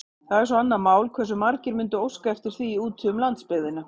Það er svo annað mál, hversu margir mundu óska eftir því úti um landsbyggðina.